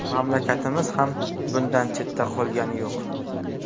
Mamlakatimiz ham bundan chetda qolgani yo‘q.